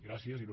gràcies il